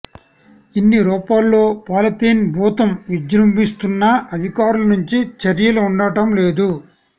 ఇన్ని రూపాల్లో పాలిథీన్ భూతం విజృంభి స్తున్నా అధికారుల నుంచి చర్యలు ఉండటం లేదు